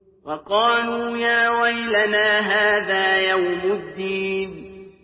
وَقَالُوا يَا وَيْلَنَا هَٰذَا يَوْمُ الدِّينِ